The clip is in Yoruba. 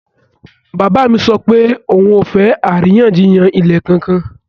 Bàbá mi sọ pé òun ò fẹ́ àríyànjiyàn ilẹ̀ kankan